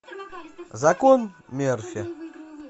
закон мерфи